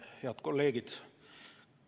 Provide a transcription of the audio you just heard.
Head kolleegid!